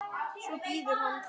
Svo bíður hann.